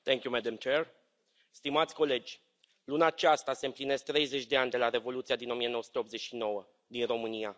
Doamnă președintă, stimați colegi, luna aceasta se împlinesc 30 de ani de la Revoluția din 1989, din România.